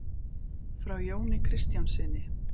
Frá Jóni kristjánssyni.